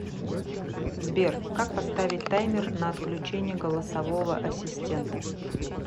сбер как поставить таймер на отключение голосового ассистента